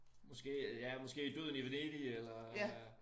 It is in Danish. Måske ja måske Døden i Venedig eller øh